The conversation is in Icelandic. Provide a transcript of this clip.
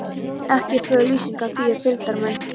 Ekki er fögur lýsingin á því er fylgdarmenn